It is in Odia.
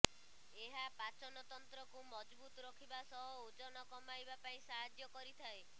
ଏହା ପାଚନ ତନ୍ତ୍ରକୁ ମଜବୁତ୍ ରଖିବା ସହ ଓଜନ କମାଇବା ପାଇଁ ସାହାଯ୍ୟ କରିଥାଏ